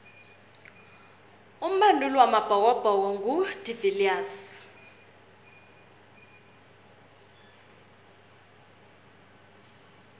umbanduli wamabhokobhoko ngu de viliers